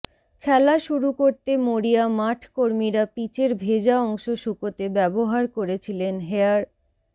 খেলা শুরু করতে মরিয়া মাঠকর্মীরা পিচের ভেজা অংশ শুকোতে ব্যবহার করেছিলেন হেয়ার